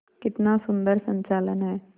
कितना सुंदर संचालन है